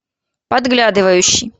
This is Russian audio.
подглядывающий